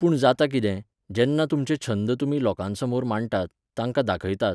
पूण जाता कितें, जेन्ना तुमचे छंद तुमी लोकांसमोर माांडटात, तांकां दाखयतात